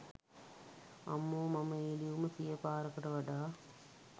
අම්මෝ මම ඒ ලියුම සිය පාරකට වඩා